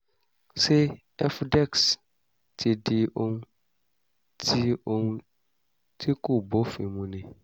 ṣé efudex ti di ohun tí ohun tí kò bófin mu ni?